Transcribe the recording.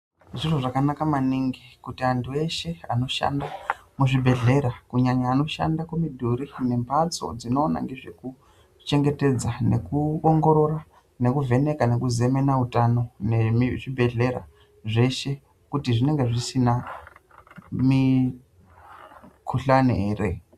Zviro zvakanaka maningi kuti antu eshe anoshanda muzvibhedhlera kunyanya anoshanda kumidhuri nembatso dzinoona ngezvekuchengetedza nekuongorora, nekuvheneka nekuzemena utano nezvibhehlera zveshe kuti zvinenge zvisina mikhuhlani ere.